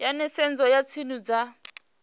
ya nisedzo ya dzinnu dza